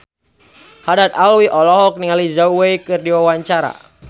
Haddad Alwi olohok ningali Zhao Wei keur diwawancara